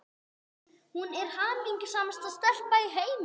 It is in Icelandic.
Hún er hamingjusamasta stelpa í heimi.